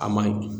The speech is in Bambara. A ma ɲi